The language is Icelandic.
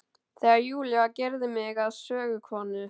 Þegar Júlía gerði mig að sögukonu.